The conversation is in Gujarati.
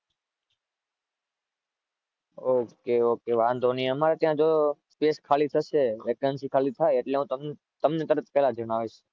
OKOK વાંધો નહીં. અમારી ત્યાં જો space ખાલી થશે. vacancy ખાલી થાય એટલ હું તમને તરત પેલા જણાવીશ.